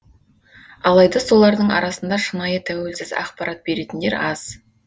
алайда солардың арасында шынайы тәуелсіз ақпарат беретіндер аз